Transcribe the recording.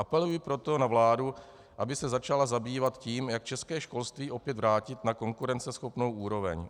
Apeluji proto na vládu, aby se začala zabývat tím, jak české školství opět vrátit na konkurenceschopnou úroveň.